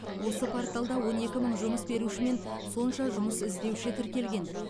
осы порталда он екі мың жұмыс беруші мен сонша жұмыс іздеуші тіркелген